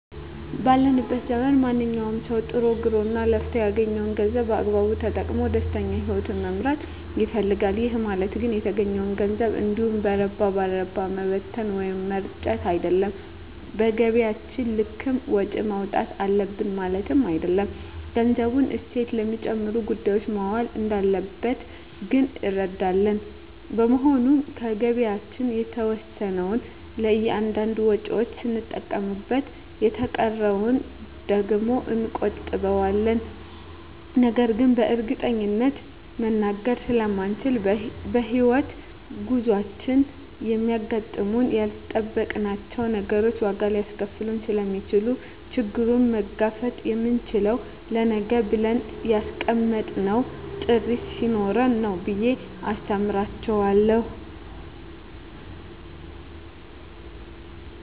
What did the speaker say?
ባለንበት ዘመን ማንኛዉም ሰዉ ጥሮ ግሮእና ለፍቶ ያገኘዉን ገንዘብ በአግባቡ ተጠቅሞ ደስተኛ ህይወትን መምራት ይፈልጋል ይህ ማለት ግን የተገኘዉን ገንዘብ እንዲሁ በረባ ባረባዉ መበተን ወይም መርጨት አይደለም በገቢያችን ልክም ወጪ ማዉጣት አለብን ማለትም አይደለም ገንዘቡ እሴት ለሚጨምሩ ጉዳዮች መዋል እንዳለበት ግን እንረዳለን በመሆኑም ከገቢያችን የተወሰነዉን ለእያንዳንድ ወጪዎች ስንጠቀምበት የተቀረዉን ደግሞ እንቆጥበዋለን ነገን በእርግጠኝነት መናገር ስለማይቻልም በሕይወት ጉዟችን የሚያጋጥሙን ያልጠበቅናቸዉ ነገሮች ዋጋ ሊያስከፍሉን ስለሚችሉ ችግሩን መጋፈጥ የምንችለዉ ለነገ ብለን ያስቀመጥነዉ ጥሪት ስኖረን ነዉ ብየ አስተምራቸዋለሁ